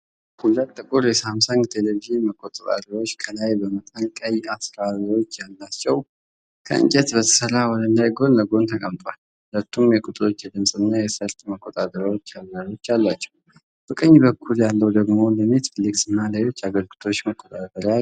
ሁለት ጥቁር የሳምሰንግ ቴሌቪዥን መቆጣጠሪያዎች ከላይ በመጠኑ ቀይ አዝራሮች ያሏቸው፣ ከእንጨት በተሠራ ወለል ላይ ጎን ለጎን ተቀምጠዋል። ሁለቱም የቁጥሮች፣ የድምጽ እና የሰርጥ መቆጣጠሪያ አዝራሮች አሏቸው፤ በቀኝ በኩል ያለው ደግሞ ለኔትፍሊክስ እና ለሌሎች አገልግሎቶች መቆጣጠሪያ አለው።